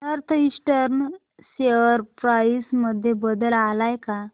north Eastern share price मध्ये बदल आलाय का